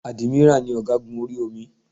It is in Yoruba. Ádímírà ni ọ̀gágun orí omi